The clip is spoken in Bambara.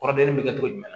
Kɔrɔdon bɛ kɛ cogo jumɛn